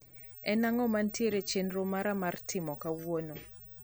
en ang`o mantiero e chenro mara mar timo kauono